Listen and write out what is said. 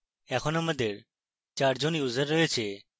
এখন আমাদের 4 জন users রয়েছে